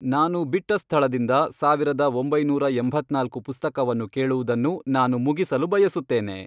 ನಾನು ಬಿಟ್ಟ ಸ್ಥಳದಿಂದ ಸಾವಿರದ ಒಂಬೈನೂರ ಎಂಭತ್ನಾಲ್ಕು ಪುಸ್ತಕವನ್ನು ಕೇಳುವುದನ್ನು ನಾನು ಮುಗಿಸಲು ಬಯಸುತ್ತೇನೆ